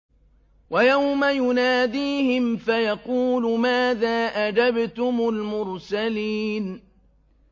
وَيَوْمَ يُنَادِيهِمْ فَيَقُولُ مَاذَا أَجَبْتُمُ الْمُرْسَلِينَ